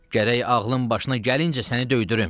Gərək ağlın başına gəlincə səni döydürüm.